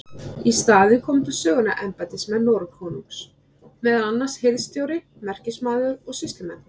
Í staðinn komu til sögunnar embættismenn Noregskonungs, meðal annars hirðstjóri, merkismaður og sýslumenn.